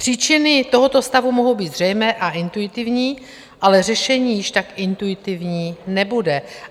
Příčiny tohoto stavu mohou být zřejmé a intuitivní, ale řešení již tak intuitivní nebude.